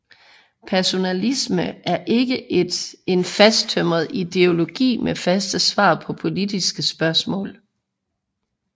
Personalismen er ikke en fasttømret ideologi med faste svar på politiske spørgsmål